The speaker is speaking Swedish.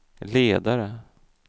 ledare